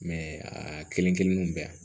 a kelen kelen bɛɛ